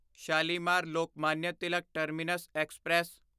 Shalimar Lokmanya Tilak terminus express